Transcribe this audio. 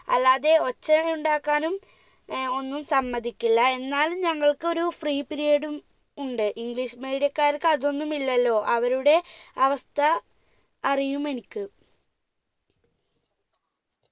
അല്ലാതെ ഒച്ചയുണ്ടാക്കാനും ഏർ ഒന്നും സമ്മതിക്കില്ല എന്നാലും ഞങ്ങൾക്കൊരു free period ഉം ഉണ്ട് english medium ക്കാർക്ക് അതൊന്നും ഇല്ലല്ലോ അവരുടെ അവസ്ഥ അറിയും എനിക്ക്